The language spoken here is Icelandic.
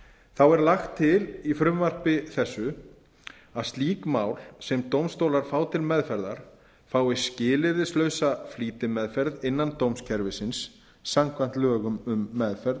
tengd er lagt til í frumvarpi þessu að slík mál sem dómstólar fá til meðferðar fái skilyrðislausa flýtimeðferð innan dómskerfisins samkvæmt lögum um meðferð